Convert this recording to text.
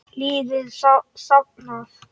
Liði safnað.